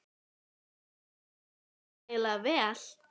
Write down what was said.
En hefur kerfið borið tilætlaðan árangur?